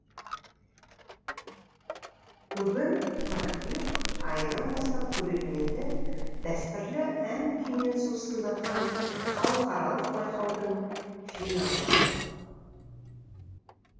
бүгін қыркүйек айынан бастап көрерменді дәстүрлі ән күймен сусындатқан халықаралық байқаудың финалы